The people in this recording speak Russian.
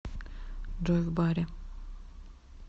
джой в баре